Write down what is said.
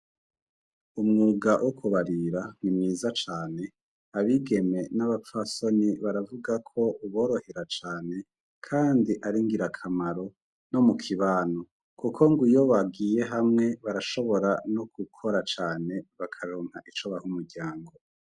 Umwuga wo kubarira ni mwiza cane abigeme n'abapfa soni baravuga ko uborohera cane, kandi aringira akamaro no mu kibanu, kuko ngo iyo bagiye hamwe barashobora no gukora cane bakarunka ico bahe umuryango.